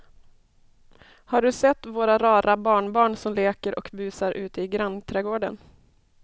Har du sett våra rara barnbarn som leker och busar ute i grannträdgården!